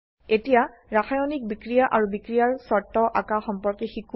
এতিয়া ৰাসায়নিক বিক্ৰিয়া আৰু বিক্ৰিয়াৰ শৰ্ত আঁকা সম্পৰ্কে শিকো